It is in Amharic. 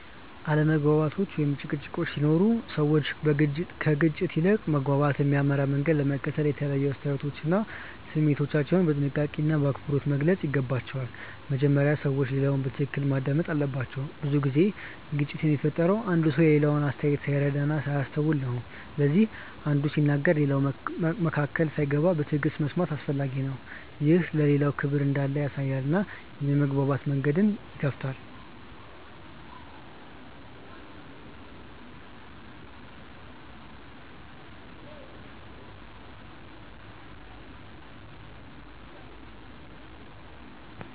አለመግባባቶች ወይም ጭቅጭቆች ሲኖሩ ሰዎች ከግጭት ይልቅ ወደ መግባባት የሚያመራ መንገድ ለመከተል የተለያዩ አስተያየቶቻቸውን እና ስሜታቸውን በጥንቃቄና በአክብሮት መግለጽ ይገባቸዋል። በመጀመሪያ ሰዎች ሌላውን በትክክል ማዳመጥ አለባቸው። ብዙ ጊዜ ግጭት የሚፈጠረው አንዱ ሰው የሌላውን አስተያየት ሳይረዳ ሲያስተውል ነው። ስለዚህ አንዱ ሲናገር ሌላው መካከል ሳይገባ በትዕግሥት መስማት አስፈላጊ ነው። ይህ ለሌላው ክብር እንዳለ ያሳያል እና የመግባባት መንገድን ይከፍታል.